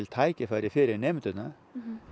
tækifæri fyrir nemendurna